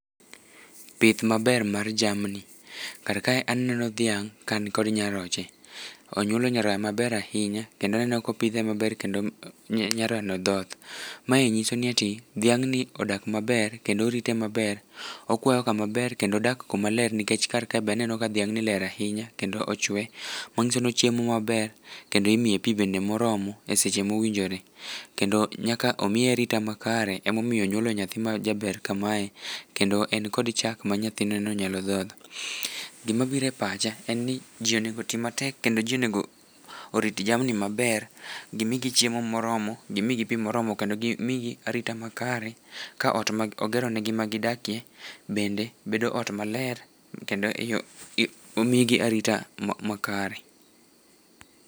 pith maber mar jamni kar kae aneno dhiang kani kod nyaroche ,onyuolo nyaroya maber ahinya kendo aneno kopidhe maber kendo nyaroya no thoth, mae nyiso ni dhiang no odak maber kendo orite maber, okwayo kama ber kendo odak kuma ler nikech kar kae be aneno ka dhiang ni ler ahinya kendo ochwe manyiso ni ochiemo maber kendo imiye pi bende moromo e seche mowinjore kendo nyaka omiye arita makare emomiyo onyuolo nyathi majaber kamae kendo en kod chak ma nyathine no nyalo dhodho, gima biro e pacha en ni ji onego ti matek kendo ji onego orit jamni maber ,gimigi chiemo moromo gimigi pi moromo kendo gimigi arita makare ka ot mogero ne gi ma gi dakie bende bedo ot maler kendo omigi arita makare.